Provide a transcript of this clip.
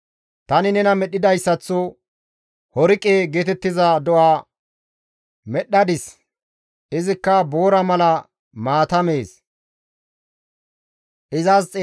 «Tani nena medhdhidayssaththo Horiqe geetettiza do7a medhdhadis; izikka boora mala maata mees. Horiqe